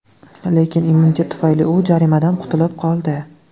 Lekin immunitet tufayli u jarimadan qutilib qoldi.